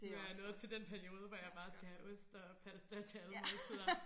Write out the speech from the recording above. Nu jeg nået til den periode hvor jeg bare skal have ost og pasta til alle måltider